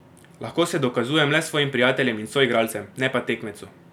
Lahko se dokazujem le svojim prijateljem in soigralcem, ne pa tekmecu.